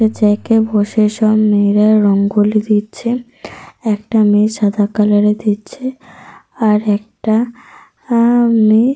জায়গায় বসে সব মেয়েরা রঙ্গোলি দিচ্ছে। একটা মেয়ে সাদা কালার -এর দিচ্ছে। আর একটা মেয়ে।